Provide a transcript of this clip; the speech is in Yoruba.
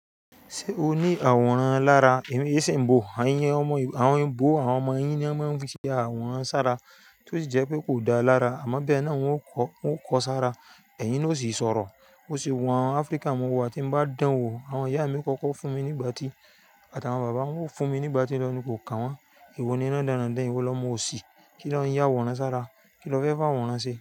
Ṣé o ní àwòrán lára? Èmi e ṣe ńbo, èyí omo àwọn ẹ̀bọ̀ àwọn ọmọ yín ni wọ́n máa ń fi ṣe àwòrán sára tí ó sì jẹ́ pé kò dáa lára àmọ́ bẹ́ẹ̀ náà wọn yóò kọ, wọn kọ sára, ẹ̀yin ni ó sì sọ̀rọ̀. Ó sì wù Áfríkà mu wò, ti bá dán wò, àwọn ìyá mi o kọ́kọ́ fún mi nígbà tí, àtàwọn bàbá wọn fún mi nígbà tí wọ́n ní kò kà wọ́n. Ewọ ni ran dán ran dán, ìwọ lọmo òsì, kí lọ ń yá àwòrán sára, kí lọ fẹ́ fi àwòrán ṣe.